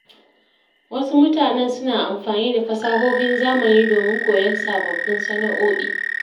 Wasu mutanen suna amfani da fasahohin zamani domin koyon sababbin sana’o’i.